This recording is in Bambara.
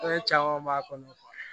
Fɛn caman b'a kɔnɔ